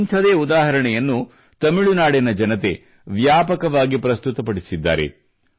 ಇಂಥದೇ ಉದಾಹರಣೆಯನ್ನು ತಮಿಳುನಾಡಿನ ಜನತೆ ವ್ಯಾಪಕವಾಗಿ ಪ್ರಸ್ತುತಪಡಿಸಿದ್ದಾರೆ